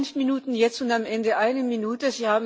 Sie haben fünf Minuten jetzt und am Ende eine Minute.